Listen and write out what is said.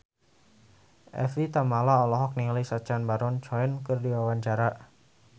Evie Tamala olohok ningali Sacha Baron Cohen keur diwawancara